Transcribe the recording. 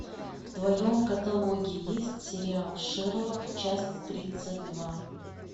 в твоем каталоге есть сериал шерлок часть тридцать два